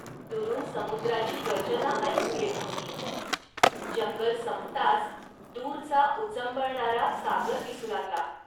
.दुरून समुद्राची गर्जना ऐकू येत होती. जंगल संपताच दूरचा उचंबळणारा सागर दिसू लागला